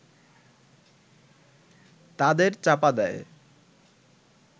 তাদের চাপা দেয়